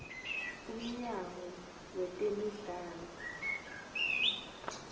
umnyango wetemidlalo